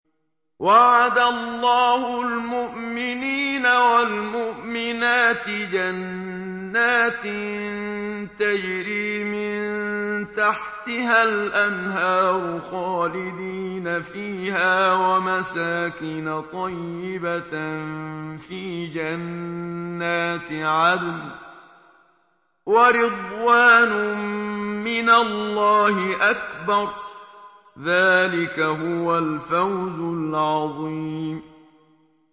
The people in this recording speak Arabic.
وَعَدَ اللَّهُ الْمُؤْمِنِينَ وَالْمُؤْمِنَاتِ جَنَّاتٍ تَجْرِي مِن تَحْتِهَا الْأَنْهَارُ خَالِدِينَ فِيهَا وَمَسَاكِنَ طَيِّبَةً فِي جَنَّاتِ عَدْنٍ ۚ وَرِضْوَانٌ مِّنَ اللَّهِ أَكْبَرُ ۚ ذَٰلِكَ هُوَ الْفَوْزُ الْعَظِيمُ